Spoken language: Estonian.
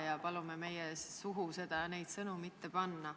Ja palume meie suhu neid sõnu mitte panna.